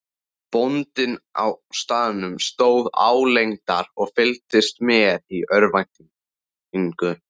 Bóndinn á staðnum stóð álengdar og fylgdist með í örvæntingu.